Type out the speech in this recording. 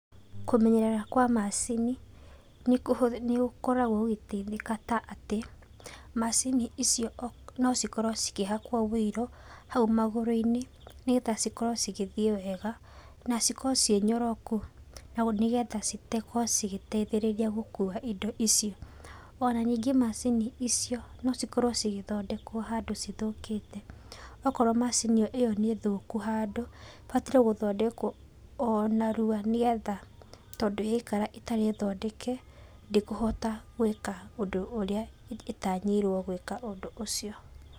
Kũmenyerera kwa macini, nĩ gũkoragwo gũkĩteithĩka ta atĩ, macini icio no cikorwo cikĩhakwo wũiro hau magũrũ-inĩ nĩ getha cikorwo cigĩthiĩ wega, na cikorwo cirĩ nyoroku, hau nĩ getha cikorwo cigĩteithĩrĩria gũkua indo icio. Ona ningĩ macini icio no cikorwo cigĩthondekwo handũ cithũkĩte, okorwo macini ĩyo nĩ thũku handũ ĩbataire gũthondekwo o narua nĩ getha tondũ yaikara ĩtarĩ thondeke ndĩkũhota gwĩka ũndũ ũrĩa ĩtanyĩirwo gwĩka ũndũ ũcio.